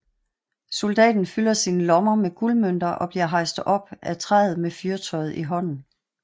Soldaten fylder sine lommer med guldmønter og bliver hejst op af træet med fyrtøjet i hånden